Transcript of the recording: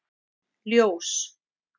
Ljós